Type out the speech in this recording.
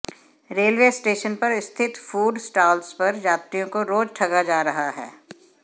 railway station पर स्थित food stalls पर यात्रियों को रोज ठगा जा रहा है